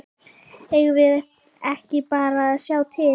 Eigum við ekki bara að sjá til?